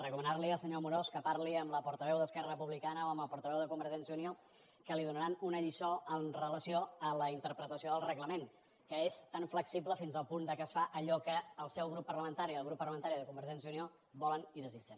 recomanar·li al senyor amorós que parli amb la portaveu d’esquerra repu·blicana o amb el portaveu de convergència i unió que li donaran una lliçó amb relació a la interpretació del reglament que és tan flexible fins al punt que es fa allò que el seu grup parlamentari i el grup parla·mentari de convergència i unió volen i desitgen